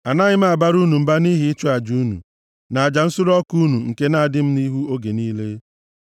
Anaghị m abara unu mba nʼihi ịchụ aja unu, na aja nsure ọkụ unu nke na-adị m nʼihu oge niile.